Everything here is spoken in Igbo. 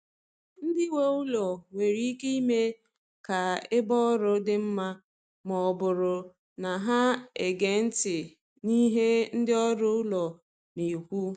Ndị nwe ụlọ nwere ike ime ka ebe ọrụ dị mma ma ọ bụrụ na ha ege ntị n’ihe ndị ọrụ ụlọ na-ekwu.